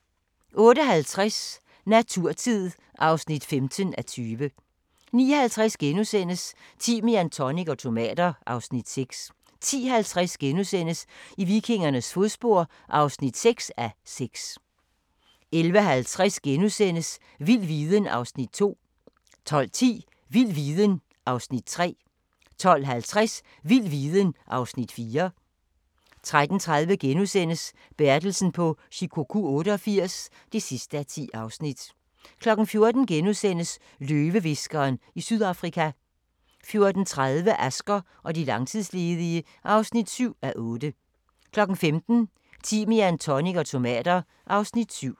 08:50: Naturtid (15:20) 09:50: Timian, tonic og tomater (Afs. 6)* 10:50: I vikingernes fodspor (6:6)* 11:30: Vild viden (Afs. 2)* 12:10: Vild viden (Afs. 3) 12:50: Vild viden (Afs. 4) 13:30: Bertelsen på Shikoku 88 (10:10)* 14:00: Løvehviskeren i Sydafrika * 14:30: Asger og de langtidsledige (7:8) 15:00: Timian, tonic og tomater (Afs. 7)